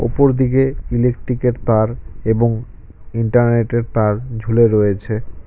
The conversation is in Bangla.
উপর দিকে ইলেকট্রিকের তার এবং ইন্টারনেটের তার ঝুলে রয়েছে।